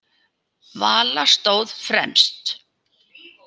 Vala stóð fremst.